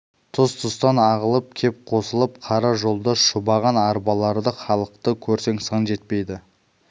тұс-тұстан ағылып кеп қосылып қара жолда шұбаған арбаларды халықты көрсең сан жетпейді